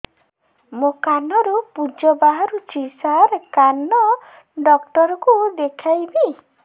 ମୋ କାନରୁ ପୁଜ ବାହାରୁଛି ସାର କାନ ଡକ୍ଟର କୁ ଦେଖାଇବି